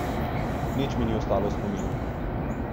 Nič mi ni ostalo v spominu.